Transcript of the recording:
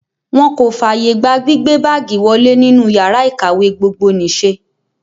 Wọ́n kò fààyè gba gbígbé báágìì wọlé nínú yàrá ìkàwé gbogbonìṣe.